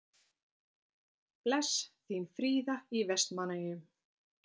Bless, þín Fríða í Vestmannaeyjum